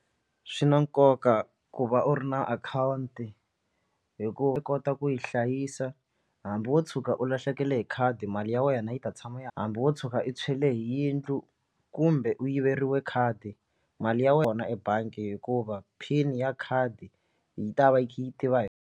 Swi na nkoka ku va u ri na akhawunti hi ku u kota ku yi hlayisa hambi wo tshuka u lahlekele hi khadi mali ya wena yi ta tshama ya hambi wo tshuka i tshweriwe hi yindlu kumbe u yiveriwa khadi mali ya wena ebangi hikuva pin ya khadi yi ta va yi kha yi tiva hi.